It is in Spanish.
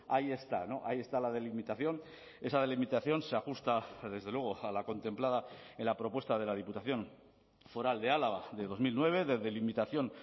ahí está ahí está la delimitación esa delimitación se ajusta desde luego a la contemplada en la propuesta de la diputación foral de álava de dos mil nueve de delimitación